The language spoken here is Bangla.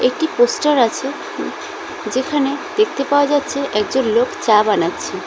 একটি পোস্টার আছে যেখানে দেখতে পাওয়া যাচ্ছে একজন লোক চা বানাচ্ছে।